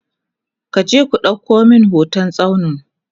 kuje ku ɗauko min hoton tsauni!